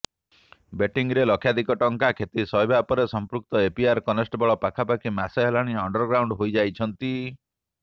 ବେଟିଂରେ ଲକ୍ଷାଧିକ ଟଙ୍କା କ୍ଷତି ସହିବା ପରେ ସଂପୃକ୍ତ ଏପିଆର୍ କନ୍ଷ୍ଟେବଳ ପାଖାପାଖି ମାସେ ହେଲାଣି ଅଣ୍ଡର୍ଗ୍ରାଉଣ୍ଡ୍ ହୋଇଯାଇଛନ୍ତି